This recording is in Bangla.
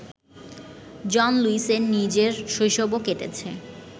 জন লুইসের নিজের শৈশবও কেটেছে